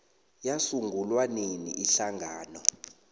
yasungulwa nini ihlangano